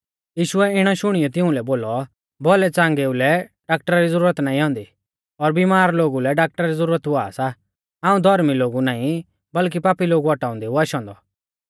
यीशुऐ इणै शुणियौ तिउंलै बोलौ भौलैच़ांगेउ लै डाक्टरा री ज़ुरत नाईं औन्दी पर बिमार लोगु लै डाक्टरा री ज़ुरत हुआ सा हाऊं धौर्मी लोगु नाईं बल्कि पापी लोगु औटाउंदै ऊ आशौ औन्दौ